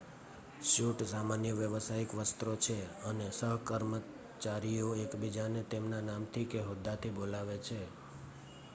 suit સામાન્ય વ્યાવસાયિક વસ્ત્રો છે અને સહકર્મચારીઓ એકબીજાને તેમના નામથી કે હોદ્દાથી બોલાવે છે